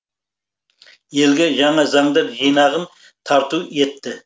елге жаңа заңдар жинағын тарту етті